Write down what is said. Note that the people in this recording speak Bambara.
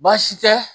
Baasi tɛ